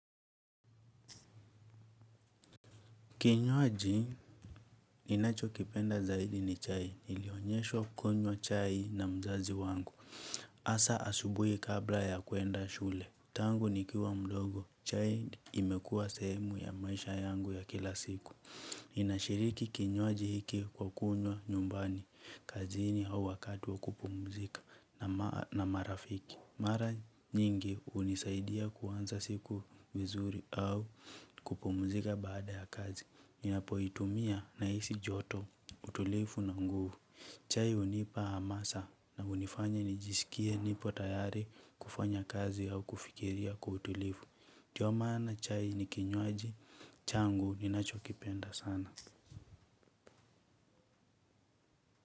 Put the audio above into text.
Kinywaji ninacho kipenda zaidi ni chai. Nilionyeshwa kunywa chai na mzazi wangu. Hasaa asubuhi kabla ya kuenda shule. Tangu nikiwa mdogo. Chai imekuwa sehemu ya maisha yangu ya kila siku. Ninashiriki kinywaji hiki kwa kunywa nyumbani kazini au wakati wa kupumzika na marafiki. Mara nyingi hunisaidia kuanza siku vizuri au kupumzika baada ya kazi. Ninapoitumia na hisi joto utulivu na nguvu. Chai hunipa hamasa na hunifanya nijisikie nipo tayari kufanya kazi au kufikiria kwa utulivu. Ndio maana chai ni kinywaji, changu ni nacho kipenda sana.